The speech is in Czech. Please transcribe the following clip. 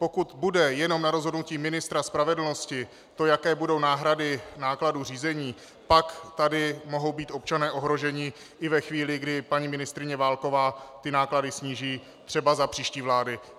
Pokud bude jenom na rozhodnutí ministra spravedlnosti to, jaké budou náhrady nákladů řízení, pak tady mohou být občané ohroženi i ve chvíli, kdy paní ministryně Válková ty náklady sníží, třeba za příští vlády.